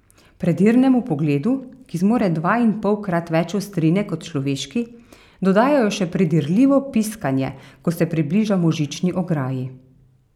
Predirnemu pogledu, ki zmore dvainpolkrat več ostrine kot človeški, dodajo še predirljivo piskanje, ko se približamo žični ograji.